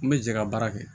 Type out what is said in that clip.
N bɛ jɛ ka baara kɛ